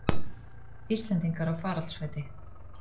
Íslendingar á faraldsfæti